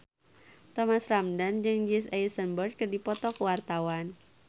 Thomas Ramdhan jeung Jesse Eisenberg keur dipoto ku wartawan